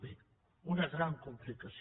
bé una gran complicació